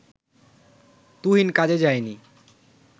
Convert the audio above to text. তুহিন কাজে যায়নি